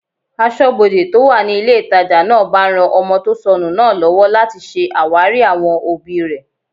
Asọ́bodè tó wà ní ilé ìtajà náà bá ran ọmọ tó sọnù náà lọ́wọ́ láti ṣe àwárí àwọn òbí rẹ̀